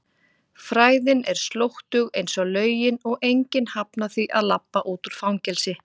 fræðin er slóttug einsog lögin og enginn hafnar því að labba út úr fangelsi.